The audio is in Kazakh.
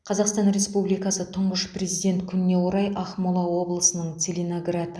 қазақстан республикасы тұңғыш президент күніне орай ақмола облысының целиноград